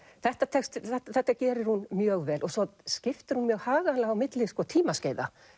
þetta þetta gerir hún mjög vel og svo skiptir hún mjög haganlega á milli tímaskeiða